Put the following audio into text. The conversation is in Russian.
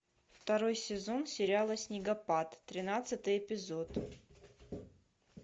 второй сезон сериала снегопад тринадцатый эпизод